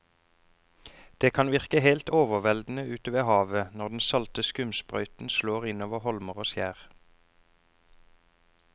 Det kan virke helt overveldende ute ved havet når den salte skumsprøyten slår innover holmer og skjær.